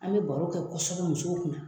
An be baro kɛ kɔsɔbɛ musow kunna.